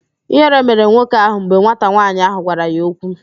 Ịhere mere nwoke ahụ mgbe nwata nwaanyị ahụ gwara ya okwu